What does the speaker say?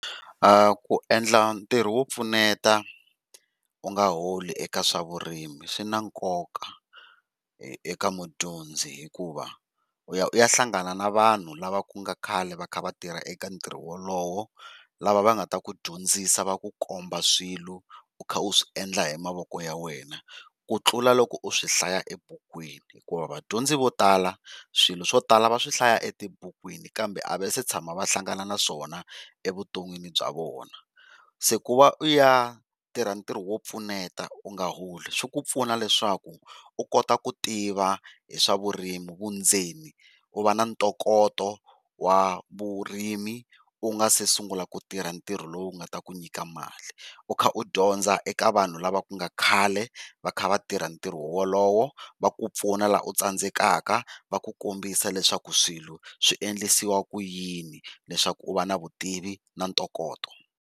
Ku endla ntirho wo pfuneta u nga holi eka swa vurimi swi na nkoka eka mudyondzi, hikuva u ya u ya hlangana na vanhu lava ku nga khale va kha va tirha eka ntirho walowo lava va nga ta ku dyondzisa va komba swilo u kha u swi endla hi mavoko ya wena. Ku tlula loko u swi hlaya ebukwini hikuva vadyondzi vo tala swilo swo tala va swihlaya etibukwini kambe a va se tshama va hlangana naswona evuton'wini bya vona, se ku va u ya tirha ntirho wo pfuneta u nga holi swi ku pfuna leswaku u kota ku tiva hi swa vurimi vundzeni u va na ntokoto wa vurimi u nga se sungula ku tirha ntirho lowu nga ta ku nyika mali. U kha dyondza eka vanhu lava ku nga khale va kha va tirha ntirho walowo va ku pfuna laha u tsandzekaka va ku kombisa leswaku swilo swi endlisiwa ku yini leswaku u va na vutivi na ntokoto.